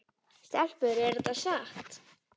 Stelpur er þetta satt?